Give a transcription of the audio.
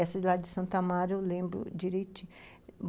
Essa lá de Santo Amaro eu lembro direiti